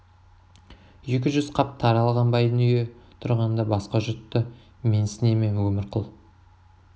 екі жүз қап тары алған байдың үйі тұрғанда басқа жұртты менсіне ме өмірқұл